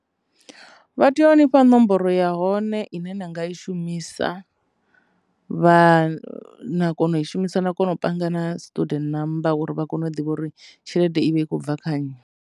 Vha tea u ni fha nomboro ya hone ine na nga i shumisa vha kona u i shumisa na kona u panga na student namba uri vha kone u ḓivha uri tshelede i vha i khou bva kha nnyi.